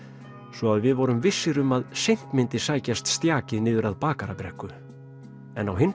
svo að við vorum vissir um að seint myndi sækjast niður að Bakarabrekku en á hinn